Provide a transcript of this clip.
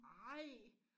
Ej